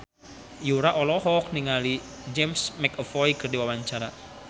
Yura olohok ningali James McAvoy keur diwawancara